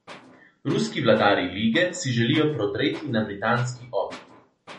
Ruski vladarji lige si želijo prodreti na britanski otok.